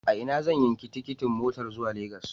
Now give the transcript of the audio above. A ina zan yanki tikitin motar zuwa Lagos?